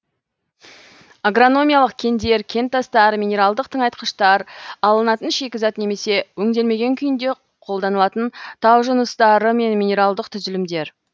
агрономиялық кендер кентастар минералдық тыңайтқыштар алынатын шикізат немесе өңделмеген күйінде қолданылатын тау жыныстары мен минералдық түзілімдер